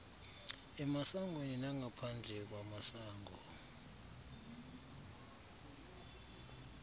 emasangweni nangaphandle kwamasango